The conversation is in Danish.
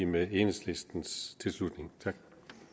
med enhedslistens tilslutning tak